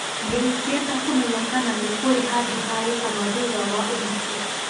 Nĩ ingĩenda kũmenya kana nĩ kũrĩ handũ ha gũkoma thutha wa ũhiki